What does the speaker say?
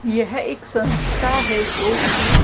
यह एक संस्था है जो कि--